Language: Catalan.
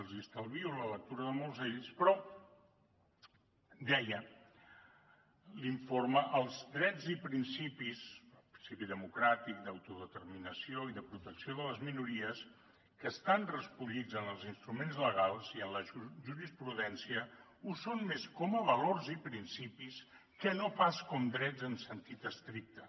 els estalvio la lectura de molts ells però deia l’informe els drets i principis el principi democràtic d’autodeterminació i de protecció de les minories que estan recollits en els instruments legals i en la jurisprudència ho són més com a valors i principis que no pas com a drets en sentit estricte